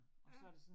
Ja